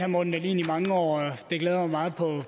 morten dahlin i mange år og det glæder mig meget på